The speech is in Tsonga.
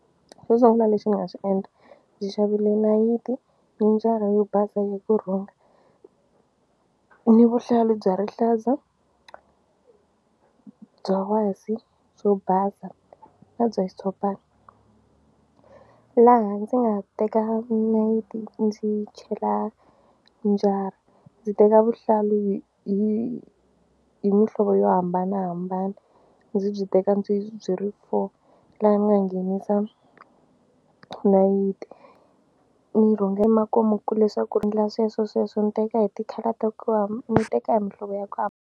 Xo sungula lexi ni nga xi endla ndzi xavile nayiti ni njara yo basa ya kurhunga ni vuhlalu bya rihlaza, bya wasi, byo basa na bya xitshopani laha ndzi nga teka nayiti ndzi chela njara ndzi teka vuhlalu hi hi hi mihlovo yo hambanahambana ndzi byi teka ndzi byi ri four laha ni nga nghenisa nayiti ni rhunga emakumu ku leswaku ri endla sweswo sweswo ni teka hi ti-colour ta ku ni teka hi muhlovo ya ku .